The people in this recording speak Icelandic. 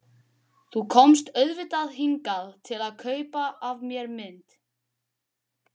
Þú komst auðvitað hingað til að kaupa af mér mynd.